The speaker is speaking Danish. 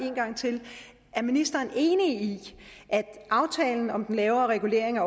en gang til er ministeren enig i at aftalen om den lavere regulering